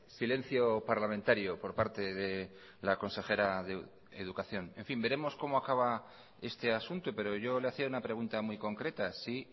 silencio parlamentario por parte de la consejera de educación en fin veremos cómo acaba este asunto pero yo le hacía una pregunta muy concreta si